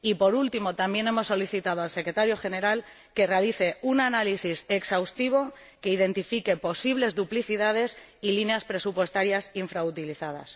y, por último, también hemos solicitado al Secretario General que realice un análisis exhaustivo que detecte posibles duplicidades y líneas presupuestarias infrautilizadas.